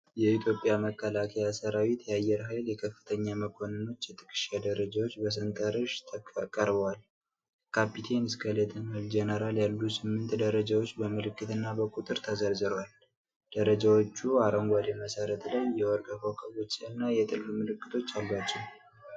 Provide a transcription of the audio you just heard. የኢትዮጵያ መከላከያ ሠራዊት የአየር ኃይል የከፍተኛ መኮንኖች የትከሻ ደረጃዎች በሰንጠረዥ ቀርበዋል። ከካፒቴን እስከ ሌተናል ጄኔራል ያሉ ስምንት ደረጃዎች በምልክት እና በቁጥር ተዘርዝረዋል። ደረጃዎቹ አረንጓዴ መሠረት ላይ የወርቅ ኮከቦችና የጥልፍ ምልክቶች አሏቸው።